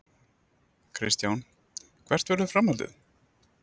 Kristján: Hvert verður framhaldið?